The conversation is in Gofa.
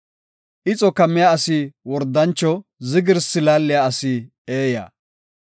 Ixo kammiya asi wordancho; zigirsi laaliya asi eeya.